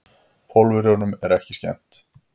Pólverjunum er ekki skemmt.